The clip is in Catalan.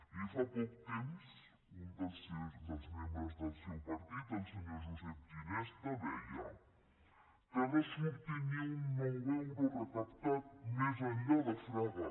miri fa poc temps un dels membres del seu partit el senyor josep ginesta deia que no surti ni un nou euro recaptat més enllà de fraga